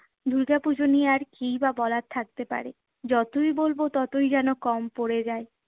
দুর্গাপুজো নিয়ে আর কী-ই বা বলার থাকতে পারে? যতই বলবো ততই যেন কম পড়ে যায়।